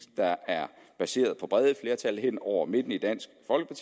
der er baseret på brede flertal hen over midten i dansk